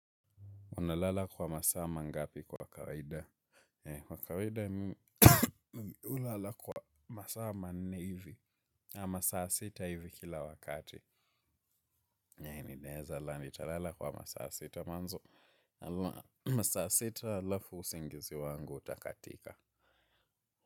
Unalala kwa masaa mangapi kwa kawaida? Kwa kawaida, unalala kwa masaa manne hivi. Masaa sita hivi kila wakati. Naye, ninaeza lala nitalala kwa masa sita mwanzo. Masaa sita alafu usingizi wangu utakatika.